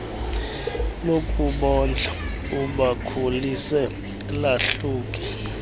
lokubondla ubakhulise lahluke